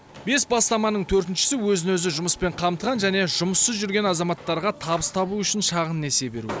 бес бастаманың төртіншісі өз өзін жұмыспен қамтыған және жұмыссыз жүрген азаматтарға табыс табу үшін шағын несие беру